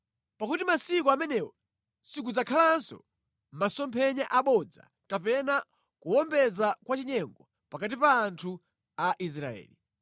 Pakuti masiku amenewo sikudzakhalanso masomphenya abodza kapena kuwombeza kwa chinyengo pakati pa anthu a Israeli.